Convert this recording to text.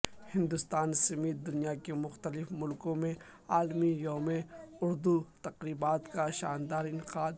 ہندوستان سمیت دنیا کے مختلف ملکوں میں عالمی یوم اردو تقریبات کا شاندار انعقاد